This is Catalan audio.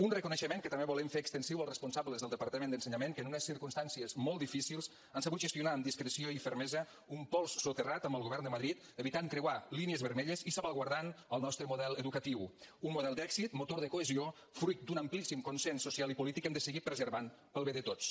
un reconeixement que també volem fer extensiu als responsables del departament d’ensenyament que en unes circumstàncies molt difícils han sabut gestionar amb discreció i fermesa un pols soterrat amb el govern de madrid evitant creuar línies vermelles i salvaguardant el nostre model educatiu un model d’èxit motor de cohesió fruit d’un amplíssim consens social i polític que hem de seguir preservant pel bé de tots